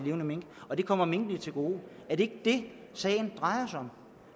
levende mink og det kommer minkene til gode er det det sagen drejer sig om